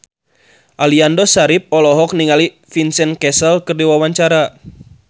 Aliando Syarif olohok ningali Vincent Cassel keur diwawancara